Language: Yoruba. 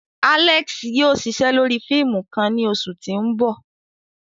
Alex yóò ṣiṣe lori fiimu kan ni oṣu ti n bọ.